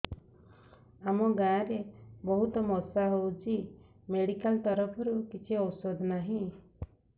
ଆମ ଗାଁ ରେ ବହୁତ ମଶା ହଉଚି ମେଡିକାଲ ତରଫରୁ କିଛି ଔଷଧ ନାହିଁ